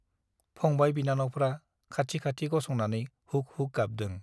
फंबाय- बिनानावफ्रा खाथि खाथि गसंनानै हुक हुक गाबदों ।